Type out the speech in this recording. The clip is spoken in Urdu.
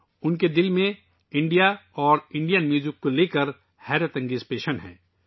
انہیں بھارت اور بھارتی موسیقی سے بڑا لگاؤ ہے